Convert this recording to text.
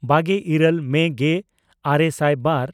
ᱵᱟᱜᱮ ᱤᱨᱟᱹᱞ ᱢᱮ ᱜᱮᱼᱟᱨᱮ ᱥᱟᱭ ᱵᱟᱨ